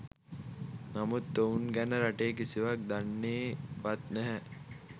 නමුත් ඔවුන් ගැන රටේ කිසිවෙක් දන්නේ වත් නැහැ